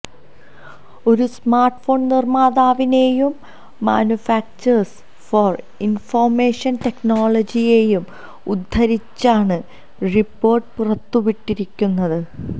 ഒരു സ്മാർട്ട്ഫോൺ നിർമ്മാതാവിനെയും manufacturers for information ടെക്നോളജിയെയും ഉദ്ധരിച്ചാണ് റിപ്പോർട്ട് പുറത്ത് വിട്ടിരിക്കുന്നത്